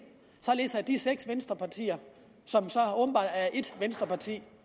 således at de seks venstrepartier som så åbenbart er ét venstreparti